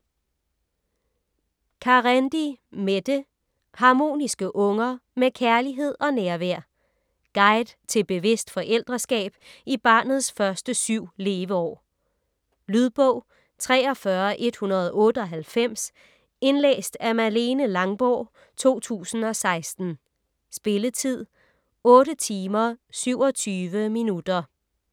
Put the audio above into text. Carendi, Mette: Harmoniske unger: med kærlighed og nærvær Guide til bevidst forældreskab i barnets første syv leveår. Lydbog 43198 Indlæst af Malene Langborg, 2016. Spilletid: 8 timer, 27 minutter.